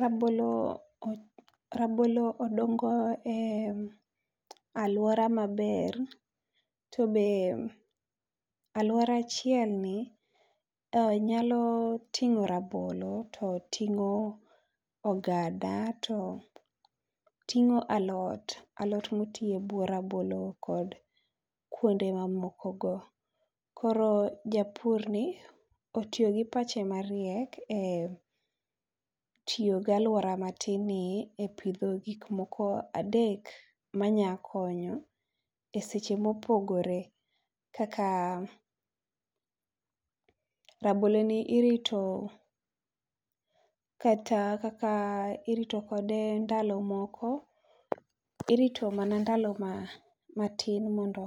Rabolo , rabolo odongo e aluora ma ber to be aluora achiel ni nyalo ting'o rabolo to ting'o ogada to ting'o alot. Alot ma tii e buo rabolo kod kuonde ma moko go. Koro japur ni otiyo gi pache ma riek e tiyo gi aluora ma tin ni e pidho gik moko adek ma nya konyo ne seche ma opogore kaka rabolo ni irito kata kaka irito kode ndalo moko irito mana ndalo matin mondo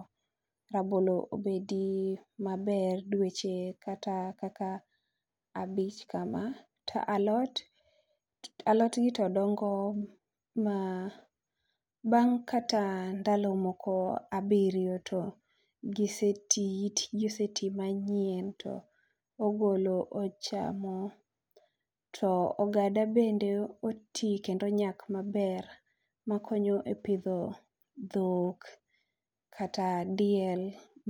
rabolo obedi ma ber dweche kata kata abich ka ma to alot, alotni to dongo ma bang kata ndalo moko abirio to gi se tii it gi osetii to ogolo to ochamo, to ogada bende oti to onyak ma ber ma konyo e pidho dhok kata diel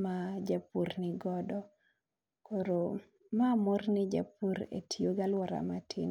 ma japur ni godo. Koro ma mor ne japur e tiyo gi aluora ma tin.